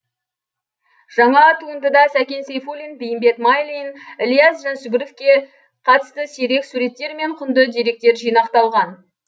жаңа туындыда сәкен сейфулин бейімбет майлин ілияс жансүгіровке қатысты сирек суреттер мен құнды деректер жинақталған